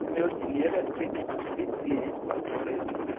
O meu dinheiro é sempre suficiente para sobreviver.